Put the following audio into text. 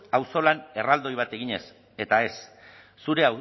auzolan erraldoi bat eginez eta ez zure